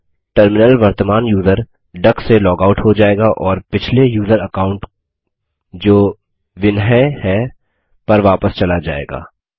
अब टर्मिनल वर्तमान user duck से लॉग आउट हो जाएगा और पिछले यूज़र अकाउंट जो विन्हाई है पर वापस चला जाएगा